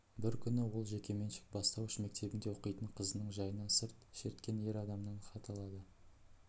бір күні ол жекеменшік бастауыш мектебінде оқитын қызының жайынан сырт шерткен ер адамнан хат алады